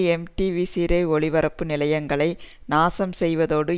MTV Sirasa ஒளிபரப்பு நிலையங்களை நாசம் செய்தோடு